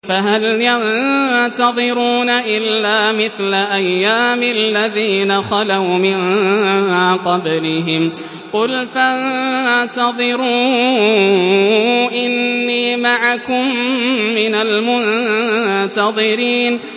فَهَلْ يَنتَظِرُونَ إِلَّا مِثْلَ أَيَّامِ الَّذِينَ خَلَوْا مِن قَبْلِهِمْ ۚ قُلْ فَانتَظِرُوا إِنِّي مَعَكُم مِّنَ الْمُنتَظِرِينَ